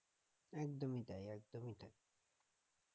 একদমই তাই একদমই তাই